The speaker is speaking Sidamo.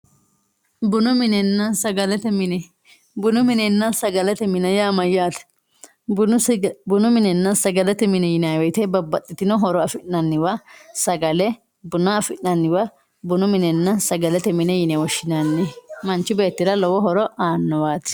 Bunu minenna sagalete mine, bunu minenna sagalete mine yaa mayyate, bunu minenna sagalete mine yinanni woyte babbaxxitino horo affi'nanniwa sagale buna affi'nanniwa bunu minenna sagalete mine yine woshshinanni manchi beettira lowo horo aanowati.